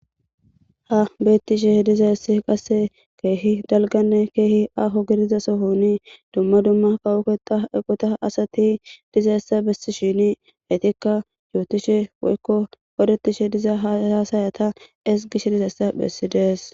Ha beettishe diza essi qasse keehi dalganne keehi aaho gidiza sohoni dumma dumma kawukea eqota asati diza essa bessi shini heytikka yootishe woykko odetishe diza hahaasayata es gish dizayssa bessidees.